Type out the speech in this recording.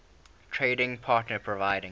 trading partner providing